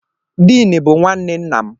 Diini bụ nwanne nna m.